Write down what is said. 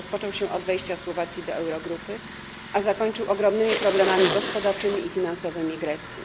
Rozpoczął się od wejścia Słowacji do Eurogrupy, a zakończył ogromnymi problemami gospodarczymi i finansowymi Grecji.